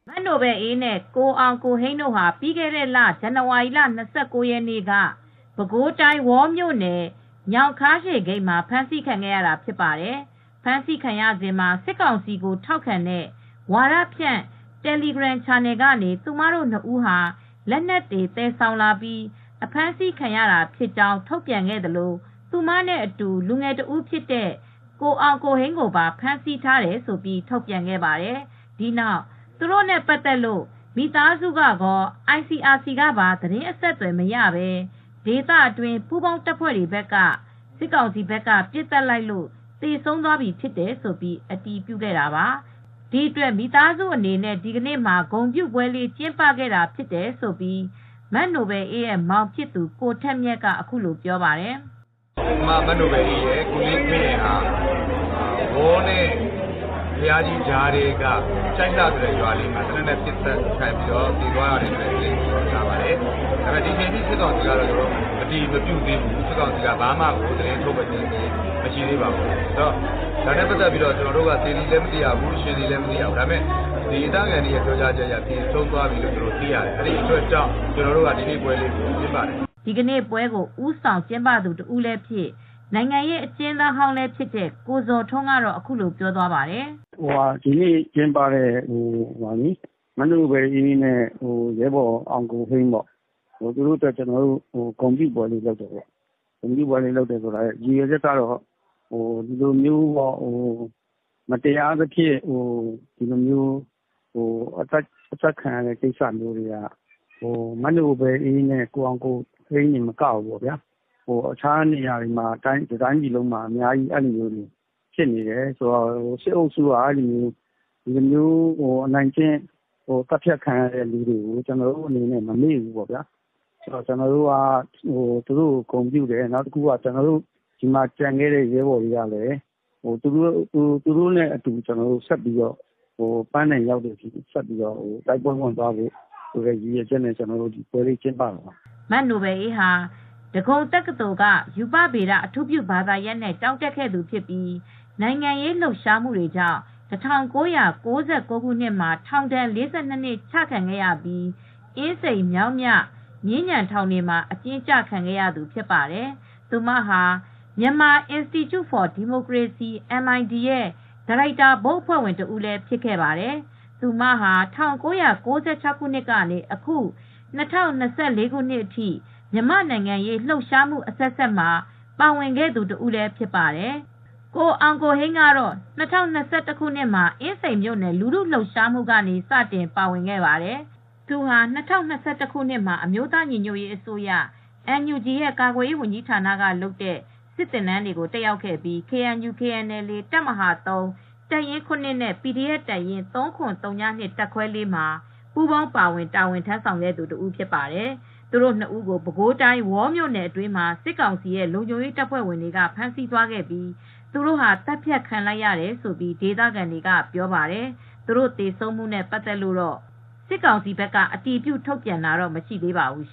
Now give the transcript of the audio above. မနိုဘယ်လ်အေးနဲ့ကိုအောင်ကိုဟိန်းတို့ဟာ ပြီးခဲ့တဲ့လ ဇန်နဝါရီ ၂၉ ရက်က ပဲခူးတိုင်း၊ ဝေါ်မြို့နယ် ညောင်ခါးရှည်ဂိတ်မှာဖမ်းဆီးခံခဲ့ရတာဖြစ်ပါတယ်။ ဖမ်းဆီးခံရစဉ်မှာ စစ်ကောင်စီကိုထောက်ခံတဲ့ ဝါဒဖြန့် တယ်လီဂရမ်ချန်နယ်ကနေ သူတို့ နှစ်ဦးဟာ လက်နက်တွေသယ်ဆောင်လာပြီး အဖမ်းဆီးခံရတာဖြစ်ကြောင်းထုတ်ပြန်ခဲ့သလို သူမနဲ့အတူ လူငယ်တဦးဖြစ်တဲ့ကိုအောင်ကိုဟိန်းကိုပါ ဖမ်းဆီးထားတယ်လို့ထုတ်ပြန်ခဲ့ပါတယ်။ ဒီနောက် သူတို့နဲ့ပတ်သက်လို့မိသားစုကကော ICRC ကပါ သတင်းအဆက်သွယ်မရပဲ စစ်ကောင်စီဘက်က ပစ်သတ်လိုက်လို့ သေဆုံးသွားပြီဖြစ်တယ်လို့ ဒေသအတွင်း ပူးပေါင်းတပ်ဖွဲ့တွေဘက်က အတည်ပြုခဲ့တာပါ၊ ဒီအတွက်မိသားစုအနေနဲ့ ဒီနေ့မှာ ပွဲလေးကျင်းပခဲ့တာဖြစ်တယ်လို့ မနိုဘယ်လ်အေးရဲ့မောင်ဖြစ်သူ ကိုထက်မြတ်က အခုလိုပြောပါတယ်။ "ကျနော်အမ မနိုဘယ်လ်အေးနဲ့ ကိုလေးခွင်းရယ်ဟာ ဝေါနဲ့ဘုရာကြီးကြားထဲက ကျိုက်လတ်ဆိုတဲ့ ရွာလေးမှာ အသေပစ်သတ်ခံရတယ်လို့ကျွန်တော်ကြားပါတယ်။ ဒီအချိန်ထိ စစ်ကောင်စီကတော့ အတည်မပြုသေးဘူး။ ဘာမှကိုမထုတ်ပြန်သေးဘူး။ သေသည်လည်း မသိရဘူး ရှင်သည်လည်း မသိရဘူး။ ဒေသခံတွေရဲ့ပြောကြားချက်အရ သေဆုံးသွားပြီလို့ သိရတယ်။ အဲဒီအတွက်ကြောင့် ကျွန်တော်တို့က ဒီနေ့ပွဲလေးကိုကျင်းပတယ်" ဒီကနေ့ပွဲကို ဦးဆောင်ကျင်းပသူတဦးဖြစ်တဲ့ နိုင်ငံရေးအကျဉ်းသားဟောင်း ကိုဇော်ထွန်းကတော့အခုလိုပြောသွားပါတယ်။ "ဒီနေ့ ကျင်းပတာက မနိုဘယ်လ်အေးနဲ့ ရဲဘော်အောင်ကိုဟိန်းတို့အတွက်ကျနော်တို့ဂုဏ်ပြုပွဲလေးလုပ်တာက အထူးသဖြင့် ရည်ရွယ်ချက်က မတရားသဖြင့် သတ်ဖြတ်ခံရတဲ့ကိစ္စနဲ့ပတ်သက်လို့ မနိုဘယ်လ်အေးနဲ့ ရဲဘော်အောင်ကိုဟိန်း တိုသာမကဘူး အခြားနေရာတွေ တတိုင်းပြည်လုံးဟာဥပဒေမဲ့သတ်ဖြတ်ခံနေရပါတယ်။ စစ်အုပ်စုရဲ့အခုလိုအနိုင်ကျင့်သတ်ဖြတ်လိုက်တဲ့သူတွေကိုကျနော်တို့က မမေ့ဘူးပေါ့ဗျာ ကျနော်တို့က သူတို့ကိုဂုဏ်ပြုတယ် ကျန်ခဲ့တဲ့ရဲဘော်တွေကလည်း သူတို့နဲ့အတူ ပန်းတိုင်ရောက်တဲ့အထိတိုက်ပွဲဝင်သွားမယ်လို့ရည်ရွယ်ချက်တွေနဲ့ ဒီနေ့ပွဲကိုကျင်းပတာပါ" မနိုဘယ်လ်အေးဟာ ဒဂုံတက္ကသိုလ် က ရူပဗေဒ အထူးပြုဘာသာရပ်နဲ့ကျောင်းတက်ခဲ့သူဖြစ်ပြီး နိုင်ငံရေးလှုပ်ရှားမူ့တွေကြောင့် ၁၉၉၉ ခုနှစ်မှာထောင်ဒဏ် ၄၂ နှစ်ချခံရပြီး အင်းစိန် မြောင်းမြ မြင်းခြံထောင်တွေမှာ အကျဉ်းကျခံခဲ့ရသူဖြစ်ပါတယ်။ သူမဟာ Myanmar Institute for Democracy MID ရဲ့ ဒါရိုက်တာဘုတ်အဖွဲ့ဝင်တဦးလည်း ဖြစ်ခဲ့ပါတယ်။ သူဟာ ၁၉၉၆ ခုနှစ်ကနေ အခု ၂၀၂၄ ခုနှစ်အထိ မြန်မာ့နိုင်ငံရေး လှုပ်ရှားမှုအဆက်ဆက်မှာ ပါဝင်ခဲ့သူတဦးလည်းဖြစ်ပါတယ်။ ကိုအောင်ကိုဟိန်းကတော့ ၂၀၂၁ခုနစ်မှာ အင်းစိန်မြို့နယ် လူထုလှုပ်ရှားမှုကနေ စတင်ပါဝင်ခဲ့ပါတယ်။ သူဟာ ၂၀၂၁ ခုနှစ်မှာ အမျိုးသားညီညွတ်ရေးအစိုးရ NUG ရဲ့ကာကွယ်ရေး ဝန်ကြီးဌာနကလုပ်တဲ့စစ်သင်တန်းတွေတက်ရောက်ခဲ့ပြီး KNU/KNLA တပ်မဟာ တပ်ရင်း နဲ့ PDF တပ်ရင်း တပ်ခဲွ မှာ ပူပေါင်းပါဝင်တာဝန်ထမ်းဆောင်ခဲ့သူတဦးဖြစ်ပါတယ်။ သူတို့၂ဦးကို ပဲခူးတိုင်းဝေါ်မြို့နယ်အတွင်းမှာစစ်ကောင်စီလုံခြုံရေးအဖွဲ့တွေကဖမ်းဆီးသွားခဲ့ပြီး သတ်ဖြတ်ခံလိုက်ရတယ်ဆိုပြီး ဒေသခံတွေကပြောပါတယ်။ ။သူတို့သေဆုံးမှုနဲ့ပတ်သက်လို့တော့စစ်ကောင်စီဘက်က အတည်ပြုထုတ်ပြန်တာမရှိသေးပါဘူး